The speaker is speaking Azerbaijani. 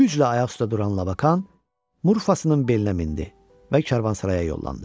Güclə ayaq üstə duran Labakan Murfasının belinə mindi və karvansaraya yollandı.